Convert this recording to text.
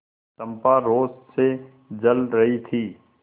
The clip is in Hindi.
चंपा रोष से जल रही थी